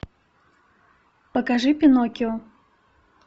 покажи пиноккио